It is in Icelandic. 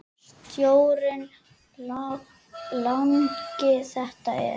Sjórinn langi þetta er.